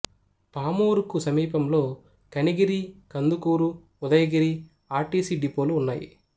పామూరుకు సమీపంలో Kanigiri Kandukur Udayagiri R T C డిపోలు ఉన్నాయి